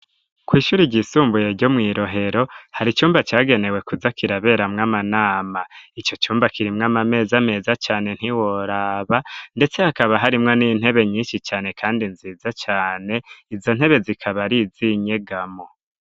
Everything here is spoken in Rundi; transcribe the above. Kw'ishure ryisumbuye ryo mw'i Rohero, hari icumba cagenewe kuza kiraberamwo amanama, ico cumba kirimwo amameza meza cane ntiworaba, ndetse hakaba harimwo n'intebe nyinshi cane kandi nziza cane, izo ntebe zikaba ar'iz'inyegamo.